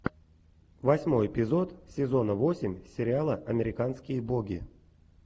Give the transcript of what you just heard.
восьмой эпизод сезона восемь сериала американские боги